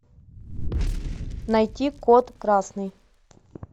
найти код красный